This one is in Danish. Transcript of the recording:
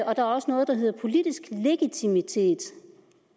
der er også noget der hedder politisk legitimitet